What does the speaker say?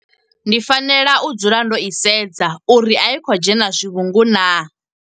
Ndi fanela u dzula ndo i sedza uri a i khou dzhena zwivhungu na.